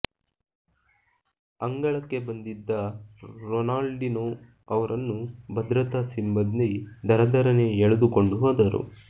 ಅಂಗಳಕ್ಕೆ ಬಂದಿದ್ದ ರೊನಾಲ್ಡಿನೊ ಅವರನ್ನು ಭದ್ರತಾ ಸಿಬ್ಬಂದಿ ದರದರನೆ ಎಳೆದುಕೊಂಡು ಹೋದರು